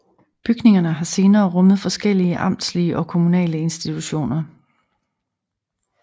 Bygningerne har senere rummet forskellige amtslige og kommunale institutioner